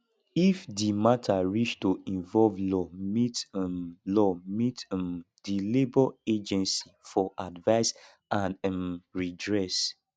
if di matter reach to involve law meet um law meet um di labour agancy for advise and um redress